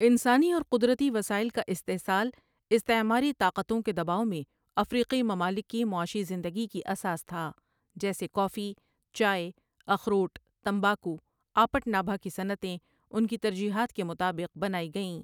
انسانی اور قدرتی وسائل کا استحصال استعماری طاقتوں کے دباؤ میں افریقی ممالک کی معاشی زندگی کی اساس تھا جیسے کافی ، چائے ، اخروٹ ، تمباکو ، آپٹ نابھا کی صنعتیں ان کی ترجیحات کے مطابق بنائی گئیں